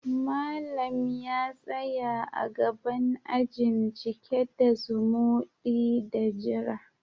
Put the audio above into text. Malam ya tsaya a gaban ajin, cike da zumudi da jira.